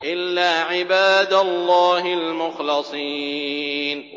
إِلَّا عِبَادَ اللَّهِ الْمُخْلَصِينَ